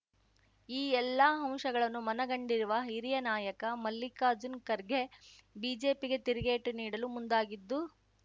ಈ ಎಲ್ಲ ಅಂಶಗಳನ್ನು ಮನಗಂಡಿರುವ ಹಿರಿಯ ನಾಯಕ ಮಲ್ಲಿಕಾರ್ಜುನ್ ಖರ್ಗೆ ಬಿಜೆಪಿಗೆ ತಿರುಗೇಟು ನೀಡಲು ಮುಂದಾಗಿದ್ದು